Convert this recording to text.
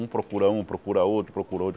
Um procura um, procura outro, procura outro.